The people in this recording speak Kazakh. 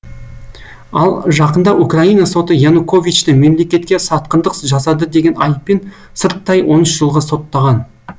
ал жақында украина соты януковичты мемлекетке сатқындық жасады деген айыппен сырттай он үш жылға соттаған